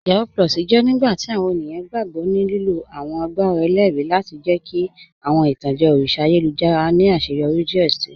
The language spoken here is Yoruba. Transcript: Yahoo + jẹ nigbati awọn ènìyàn gbogbo ní lílo awọn àgbàrá èlérì lati jẹ̀ kí awọn itanjẹ̀ òrìṣà àyélujára ni aṣẹ́yọrí díẹ̀ sí.